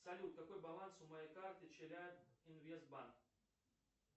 салют какой баланс у моей карты челяб инвест банк